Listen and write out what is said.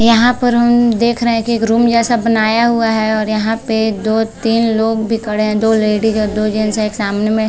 यहाँ पे हम देख रहे है की एक रूम जैसा बनाया हुआ है और यहाँ पे दो तीन लोग भी खड़े है दो लेडीज़ और दो जेन्स एक सामने में --